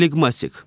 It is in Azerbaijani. Fleqmatik.